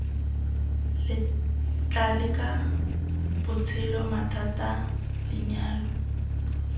tla leka botshelo mathata lenyalo